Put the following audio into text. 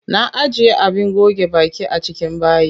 Na ajiye abin goge baki a cikin bayi.